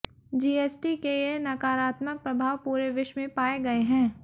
GST के ये नकारात्मक प्रभाव पूरे विश्व में पाए गए हैं